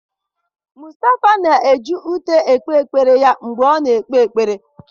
Mustafa na-eji ute ekpere ya mgbe ọ na-ekpe ekpere